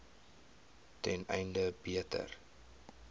ten einde beter